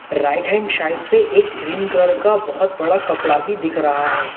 Right hand side पे एक green colour का बहोत बड़ा कपड़ा भी दिख रहा है।